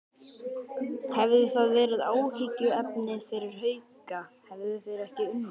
Hefði það verið áhyggjuefni fyrir Hauka, hefðu þeir ekki unnið?